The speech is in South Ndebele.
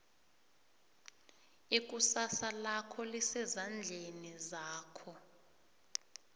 ikusasa lakho lisezandleni zakho